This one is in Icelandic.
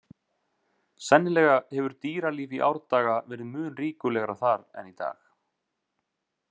Sennilega hefur dýralíf í árdaga verið mun ríkulegra þar en í dag.